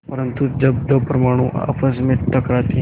परन्तु जब दो परमाणु आपस में टकराते हैं